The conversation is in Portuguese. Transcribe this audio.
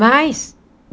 Mais.